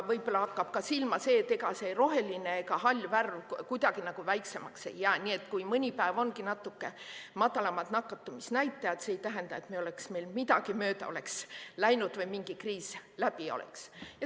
Võib-olla hakkab silma ka see, et ega see roheline ja hall värv kuidagi väiksemaks jää, nii et kui mõni päev ongi natuke madalamad nakatumisnäitajad, siis see ei tähenda, et meil midagi mööda oleks läinud või kriis läbi oleks.